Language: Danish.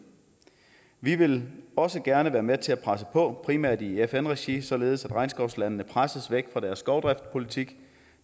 vi vil også gerne være med til at presse på primært i fn regi således at regnskovslandene presses væk fra deres skovdriftspolitik